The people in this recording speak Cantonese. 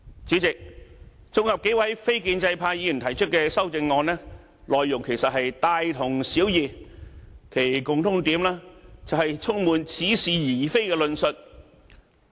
主席，綜合數位非建制派議員提出的修正案，內容其實都是大同小異，其共通點就是充滿似是而非的論述。